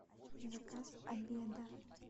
заказ обеда